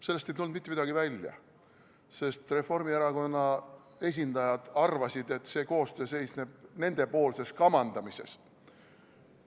Sellest ei tulnud mitte midagi välja, sest Reformierakonna esindajad arvasid, et see koostöö seisneb nendepoolses kamandamises.